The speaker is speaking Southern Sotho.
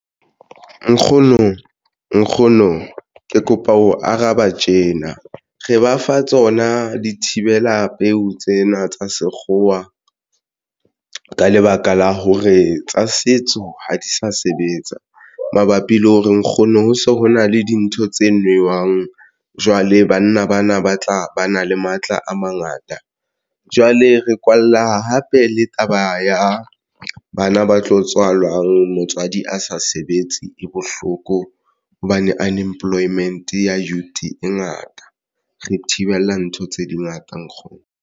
Nkgono ke kopa ho araba tjena re ba fa tsona dithibela peo tsena tsa sekgowa ka lebaka la hore tsa setso ha di sa sebetsa mabapi le hore nkgono ho se ho na le dintho tse newang. Jwale banna bana ba tla ba na le matla a mangata, jwale re kwalla hape le taba ya bana ba tlo tswalwang motswadi a sa sebetse e bohloko hobane Unemployment youth e ngata re thibela ntho tse dingata nkgono.